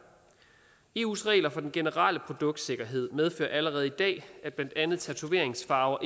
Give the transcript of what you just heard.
eus regler for den generelle produktsikkerhed medfører allerede i dag at blandt andet tatoveringsfarver